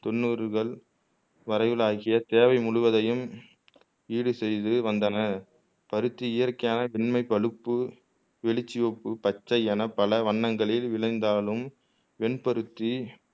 தொண்ணூறுகள் வரையில் ஆகிய தேவை முழுவதையும் ஈடு செய்து வந்தன பருத்தி இயற்கையாக வெண்மை பழுப்பு வெளிர் சிவப்பு பச்சை என பல வண்ணங்களில் விளைந்தாலும் வெண்பருத்தி